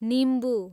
निम्बु